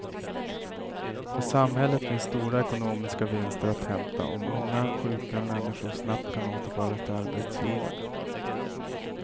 För samhället finns stora ekonomiska vinster att hämta om unga, sjuka människor snabbt kan återföras till arbetslivet.